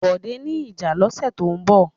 Bọ̀dé ní ìjà lọ́sẹ̀ tó ń bọ̀.